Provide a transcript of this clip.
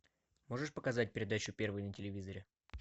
можешь показать передачу первый на телевизоре